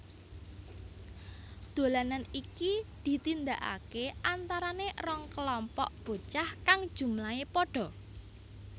Dolanan iki ditindakakè antaranè rong kelompok bocah kang jumlahè pada